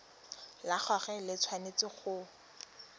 la gagwe le tshwanetse go